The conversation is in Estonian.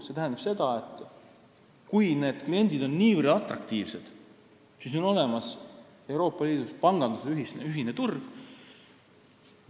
See tähendab seda, et kui need kliendid on niivõrd atraktiivsed, siis on olemas Euroopa Liidus panganduse ühine turg.